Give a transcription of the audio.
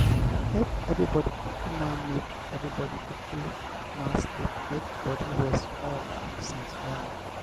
make everybody kukuma make everybody kukuma sleep make body rest small since morning.